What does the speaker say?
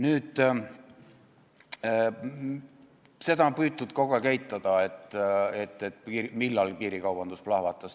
Nüüd, seda on püütud kogu aeg eitada, millal piirikaubandus lahvatas.